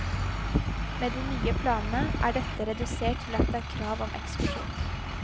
Med de nye planene er dette redusert til at det er krav om ekskursjon.